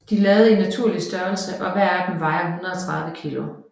De lavet i naturlig størrelse og hver af dem vejer 130 kg